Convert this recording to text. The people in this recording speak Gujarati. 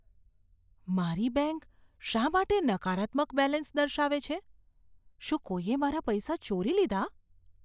મારી બેંક શા માટે નકારાત્મક બેલેન્સ દર્શાવે છે? શું કોઈએ મારા પૈસા ચોરી લીધા?